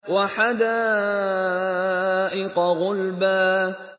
وَحَدَائِقَ غُلْبًا